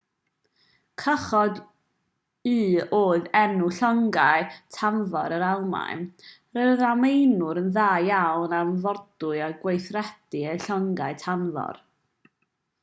cychod-u oedd enw llongau tanfor yr almaen roedd yr almaenwyr yn dda iawn am fordwyo a gweithredu eu llongau tanfor